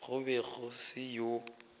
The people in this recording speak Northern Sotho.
go be go se yoo